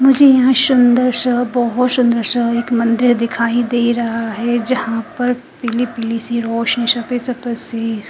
मुझे यहाँ शानदार सा बोहोत सुन्दर सा एक मंदिर दिखाई दे रहा है जहा पर पिली पिली सी रोशनी सफ़ेद सी--